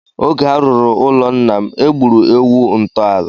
Oge a rụrụ ụlọ nna m, e gburu ewu ntọala.